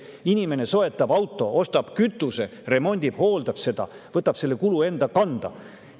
Inimene soetab auto, remondib ja hooldab seda, ostab kütust – võtab selle kulu enda kanda.